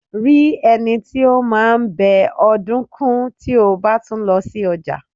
ri eni ti o maa n be odunkun ti o ba tun lo si oja